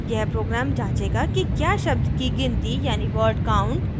यह program जांचेगा कि क्या शब्द की गिनती यानी word count